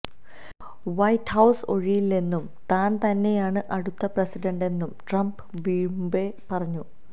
white House ഒഴിയില്ലെന്നും താൻ തന്നെയാണ് അടുത്ത പ്രസിഡന്റെന്നും ട്രംപ് വീമ്പ് പറഞ്ഞു